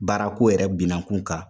Baarako yɛrɛ binankun kan.